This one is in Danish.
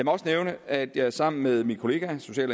også nævne at jeg sammen med min kollega social